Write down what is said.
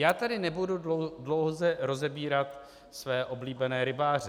Já tady nebudu dlouze rozebírat své oblíbené rybáře.